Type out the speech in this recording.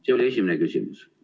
See oli esimene küsimus.